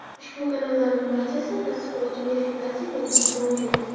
Ushbu kanallarning barchasida tasdiqlovchi – verifikatsiya belgisi mavjud.